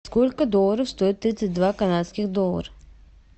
сколько долларов стоит тридцать два канадских доллар